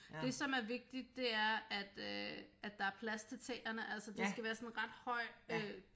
Det er som vigtigt det er at øh at der er plads til tæerne altså det skal være sådan ret høj øh